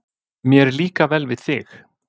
Mér líka vel við þig.